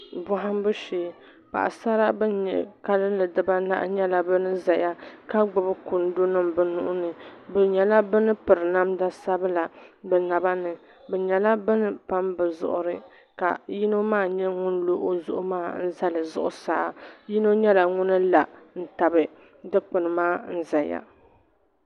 Bohambu shee paɣasara ban nyɛ kalinli bibanahi nyɛla ban ʒɛya ka gbubi kundi nima bi nuhuni bi nyɛla bin piri namda sabila bi nyɛla bin pam bi zuɣuri ka yino maa nyɛ ŋun lo o zuɣu maa n zali zuɣusaa yino nyɛla ŋun la n tabi dikpuni maa n ʒɛya